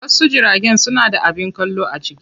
Wasu jiragen suna da abin kallo a ciki.